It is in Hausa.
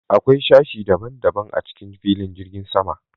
Akwai sashi ɗaban-ɗaban a cikin filin jirgin sama.